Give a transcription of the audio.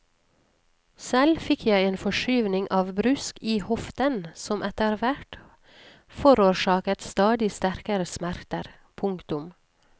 Selv fikk jeg en forskyvning av brusk i hoften som etterhvert forårsaket stadig sterkere smerter. punktum